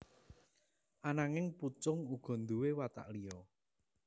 Ananging Pucung uga nduwé watak liya